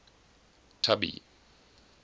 tubby